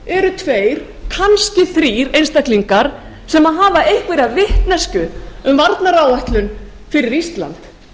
eru tveir kannski þrír einstaklingar sem hafa einhverja vitneskju um varnaráætlun fyrir ísland